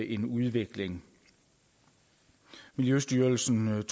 en udvikling miljøstyrelsen